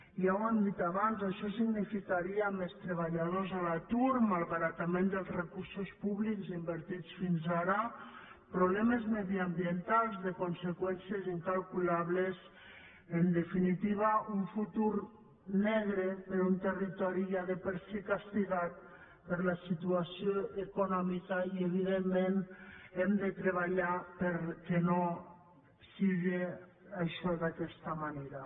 ja ho hem dit abans això significaria més treballadors a l’atur malbaratament dels recursos públics invertits fins ara problemes mediambientals de conseqüències incalculables en definitiva un futur negre per a un territori ja de per si castigat per la situació econòmica i evidentment hem de treballar perquè no siga això d’aquesta manera